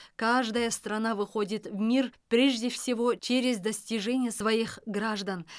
каждая страна выходит в мир прежде всего через достижения своих граждан